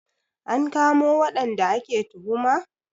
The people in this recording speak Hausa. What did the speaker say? An kamo waɗanda ake tuhuma?